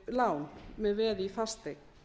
lán með veði í fasteign